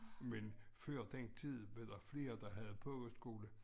Men før den tid var der flere der havde pogeskole